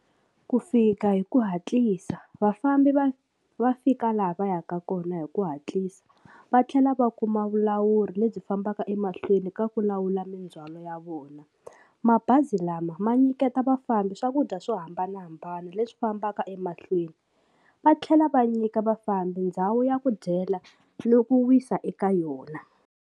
Ku fika hi ku hatlisa vafambi va va fika laha va yaka kona hi ku hatlisa va tlhela va kuma vulawuri lebyi fambaka emahlweni ka ku lawula mindzwalo ya vona mabazi lama ma nyiketa vafambi swakudya swo hambanahambana leswi fambaka emahlweni va tlhela va nyika vafambi ndhawu ya ku dyela na ku wisa eka yona.